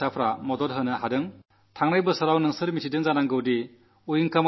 ഉദ്ദേശം ഒമ്പതിനായിരം ശൌചാലയങ്ങളുണ്ടാക്കുന്നതിന് അവർ തങ്ങളുടെ അധ്വാനശേഷി വിനിയോഗിച്ചു